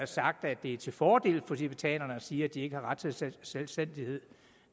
sagt at det er til fordel for tibetanerne at sige at de ikke har ret til selvstændighed